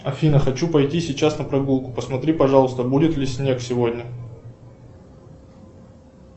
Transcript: афина хочу пойти сейчас на прогулку посмотри пожалуйста будет ли снег сегодня